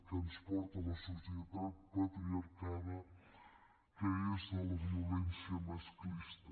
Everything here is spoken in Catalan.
que ens porta la societat patriarcal que és la violència masclista